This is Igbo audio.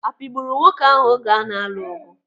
Apịgburu nwoke ahụ oge ana-alụ ọgụ?